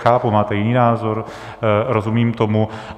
Chápu, máte jiný názor, rozumím tomu.